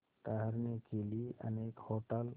ठहरने के लिए अनेक होटल